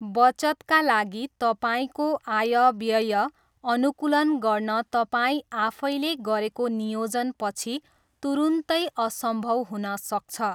बचतका लागि तपाईँको आय व्यय अनुकूलन गर्न तपाईँ आफैले गरेको नियोजनपछि तुरुन्तै असम्भव हुन सक्छ।